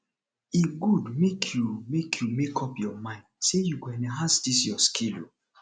e good make you make you make up your mind say you go enhance dis your skill o